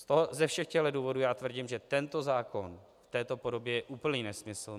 Ze všech těchto důvodů já tvrdím, že tento zákon v této podobě je úplný nesmysl.